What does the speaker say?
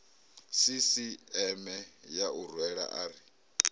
sisieme ya u rwela ari